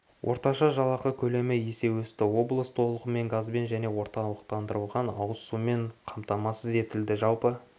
орташа жалақы көлемі есе өсті облыс толығымен газбен және орталықтандырылған ауыз сумен қамтамасыз етілді жалпы